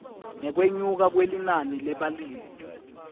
ngekwenyuka kwelinani lebalimi